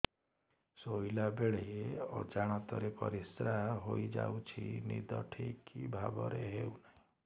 ଶୋଇଲା ବେଳେ ଅଜାଣତରେ ପରିସ୍ରା ହୋଇଯାଉଛି ନିଦ ଠିକ ଭାବରେ ହେଉ ନାହିଁ